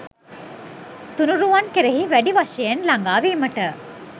තුනුරුවන් කෙරෙහි වැඩි වශයෙන් ළඟාවීමට